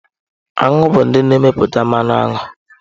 Aṅụ bụ ndị na-emepụta mmanụ aṅụ.